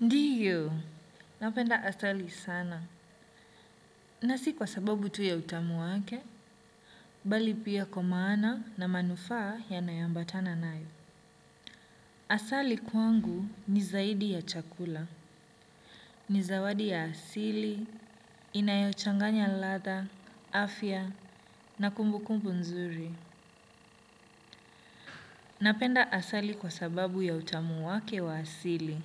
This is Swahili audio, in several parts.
Ndiyo, napenda asali sana, na si kwa sababu tu ya utamu wake, bali pia kwa maana na manufaa yanaye ambatana nayo. Asali kwangu ni zaidi ya chakula, ni zawadi ya asili, inayochanganya latha, afya, na kumbukumbu nzuri. Napenda asali kwa sababu ya utamu wake wa asili.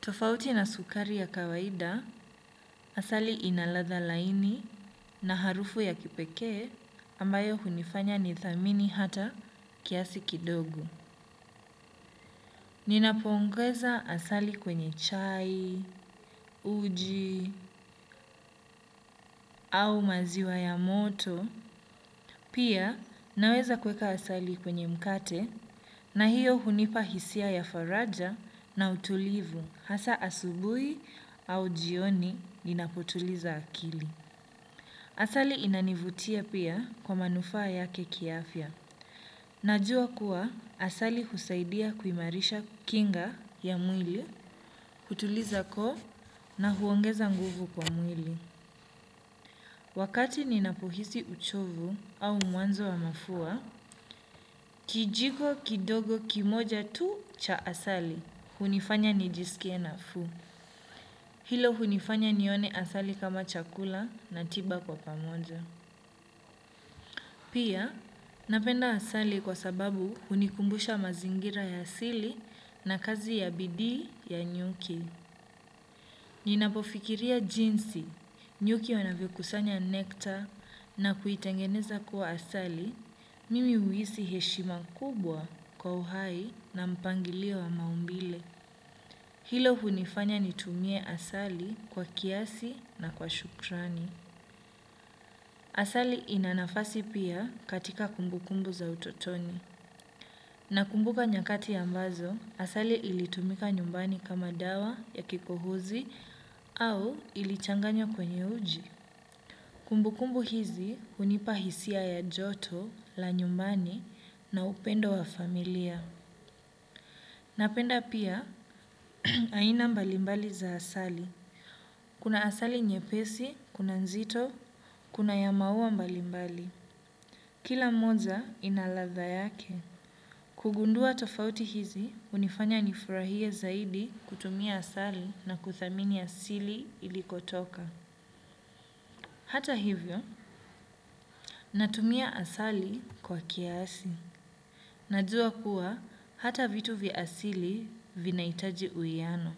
Tofauti na sukari ya kawaida, asali ina ladha laini na harufu ya kipekee ambayo hunifanya nithamini hata kiasi kidogo. Ninapoongweza asali kwenye chai, uji, au maziwa ya moto, pia naweza kuweka asali kwenye mkate na hiyo hunipa hisia ya faraja na utulivu hasa asubui au jioni ninapotuliza akili. Asali inanivutia pia kwa manufaa yake kiafya. Najua kuwa asali husaidia kuimarisha kinga ya mwili, kutuliza koo na huongeza nguvu kwa mwili. Wakati ninapohisi uchovu au mwanzo wa mafua, kijiko kidogo kimoja tu cha asali, hunifanya nijisikie nafuu. Hilo hunifanya nione asali kama chakula na tiba kwa pamoja. Pia, napenda asali kwa sababu hunikumbusha mazingira ya asili na kazi ya bidii ya nyuki. Ninapofikiria jinsi, nyuki wanavyokusanya nekta na kuitengeneza kuwa asali, mimi huhisi heshima kubwa kwa uhai na mpangilio wa maumbile. Hilo hunifanya nitumie asali kwa kiasi na kwa shukrani. Asali ina nafasi pia katika kumbukumbu za utotoni. Nakumbuka nyakati ambazo, asali ilitumika nyumbani kama dawa ya kikohozi au ilichanganywa kwenye uji. Kumbukumbu hizi hunipa hisia ya joto la nyumbani na upendo wa familia. Napenda pia aina mbalimbali za asali. Kuna asali nyepesi, kuna nzito, kuna ya maua mbalimbali. Kila monza ina ladha yake. Kugundua tofauti hizi, hunifanya nifurahie zaidi kutumia asali na kuthamini asili ilikotoka. Hata hivyo, natumia asali kwa kiasi. Najua kuwa, hata vitu vya asili vinaitaji uiano.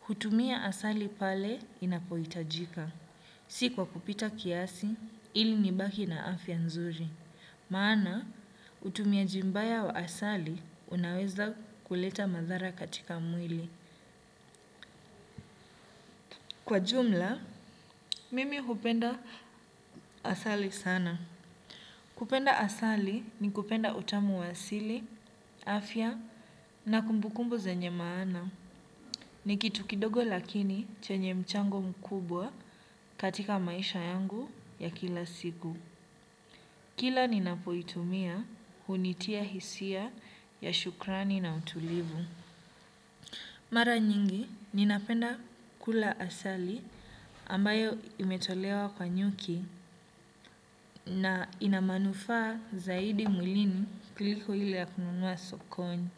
Hutumia asali pale inapohitajika. Si kwa kupita kiasi, ili nibaki na afya nzuri. Maana, utumiaji mbaya wa asali unaweza kuleta madhara katika mwili. Kwa jumla, mimi hupenda asali sana. Kupenda asali ni kupenda utamu wa asili, afya na kumbukumbu zenye maana. Ni kitu kidogo lakini chenye mchango mkubwa katika maisha yangu ya kila siku. Kila ninapoitumia hunitia hisia ya shukrani na utulivu. Mara nyingi ninapenda kula asali ambayo imetolewa kwa nyuki na ina manufaa zaidi mwilini kuliko ile ya kununua sokoni.